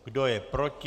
Kdo je proti?